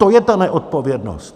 To je ta neodpovědnost!